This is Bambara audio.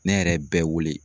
Ne yɛrɛ ye bɛɛ wele